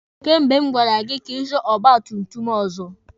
Kemgbe m gwara gị ka ị zụọ ọgba tum tum ọzọ!